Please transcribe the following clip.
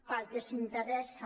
per al que els interessa